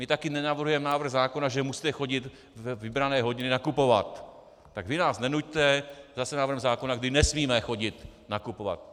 My také nenavrhujeme návrh zákona, že musíte chodit ve vybrané hodiny nakupovat, tak vy nás nenuťte zase návrhem zákona, kdy nesmíme chodit nakupovat.